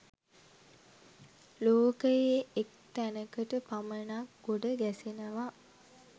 ලෝකයේ එක් තැනකට පමණක් ගොඩ ගැසෙනවා.